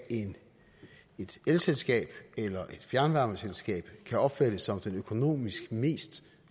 et elselskab eller fjernvarmeselskab kan opfattes som den økonomisk mest